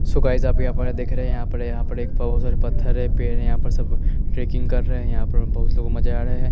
सो guys आप यहाँ पर देख रहे है यहाँ पर यहाँ पर एक पाउच और पथर है पेड़ यहाँ पर सब रेकिंग कर रहे है यहाँ पर बहुत लोग मजा आ रहा है।